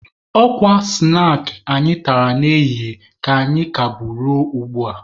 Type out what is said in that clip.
Ọ kwa snaakị anyị tara n'ehihie ka anyị ka bu ruo ugbua.